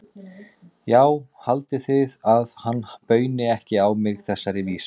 Já, haldið þið að hann bauni ekki á mig þessari vísu?